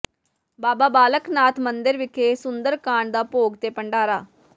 ਬਾਬਾ ਬਾਲਕ ਨਾਥ ਮੰਦਿਰ ਵਿਖੇ ਸੁੰਦਰ ਕਾਂਡ ਦਾ ਭੋਗ ਤੇ ਭੰਡਾਰਾ